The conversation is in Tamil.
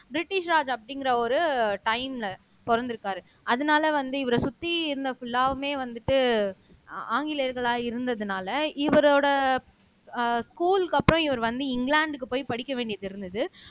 பிரிட்டிஷ் ராஜ் அப்படிங்கிற ஒரு டைம்ல பிறந்திருக்காரு அதனால வந்து இவரை சுத்தி இருந்த புல்லாவுமே வந்துட்டு ஆங்கிலேயர்களா இருந்ததுனால இவரோட அஹ் ஸ்கூல்க்கு அப்புறம் இவர் வந்து இங்கிலாந்துக்கு போய் படிக்க வேண்டியது இருந்தது